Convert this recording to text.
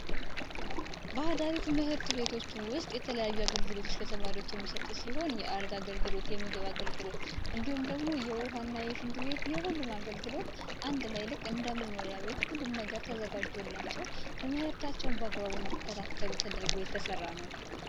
ባህላዊ ትምህርት ቤቶች ውስጥ የተለያዩ አገልግሎቶች ለተማሪዎች የሚሰጥ ሲሆን የአልጋ አገልግሎት፤ የምግብ አገልግሎት እንዲሁም ደግሞ የውሃና የሽንት ቤት የሁሉንም አይነት አገልግሎት አንድ ላይ ልክ እንደመኖሪያ ቤት ሁሉም ነገር ተዘጋጅቶላቸው ትምህርታቸውን በአግባቡ እንዲከታተሉ ተደርጎ የተሰራ ነው።